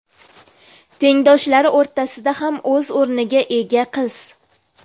Tengdoshlari o‘rtasida ham o‘z o‘rniga ega qiz.